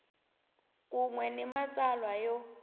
kun we ni matsalwa yo